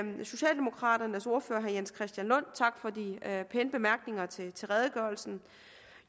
socialdemokraternes ordfører herre jens christian lund for de pæne bemærkninger til til redegørelsen